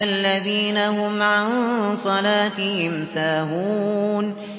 الَّذِينَ هُمْ عَن صَلَاتِهِمْ سَاهُونَ